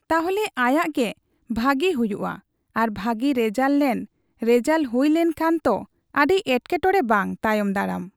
ᱛᱟᱦᱞᱮ ᱟᱭᱟᱜ ᱜᱮ ᱵᱷᱟᱟᱜᱤ ᱦᱩᱭᱩᱜᱼᱟ ᱟᱨ ᱵᱷᱟᱜᱤ ᱨᱮᱡᱟᱞ ᱞᱮᱱ ᱨᱮᱡᱟᱞ ᱦᱩᱭ ᱞᱮᱱ ᱠᱷᱟᱡ ᱛᱚ ᱟᱹᱰᱤ ᱮᱴᱠᱮᱴᱚᱲᱮ ᱵᱟᱝ ᱾ ᱛᱟᱭᱚᱢ ᱫᱟᱨᱟᱢ